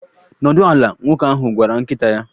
Nọdụ ala, nwoke ahụ gwara nkịta ya.